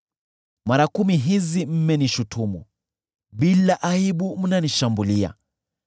Mara kumi hizi mmenishutumu; bila aibu mnanishambulia.